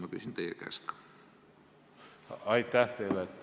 Aitäh teile!